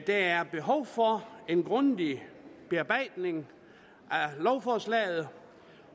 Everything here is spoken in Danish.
der er behov for en grundig bearbejdning af lovforslaget